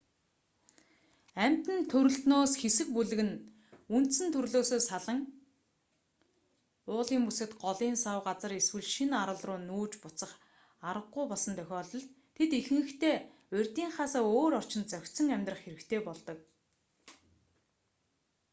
амьтан төрөлтнөөс хэсэг бүлэг нь бага тоотой нь үндсэн төрлөөсөө салан уулын бүсэд голын сав газар эсвэл шинэ арал руу нүүж буцах араггүй болсон тохиолдолд тэд ихэнхдээ урьдынхаасаа өөр орчинд зохицон амьдрах хэрэгтэй болдог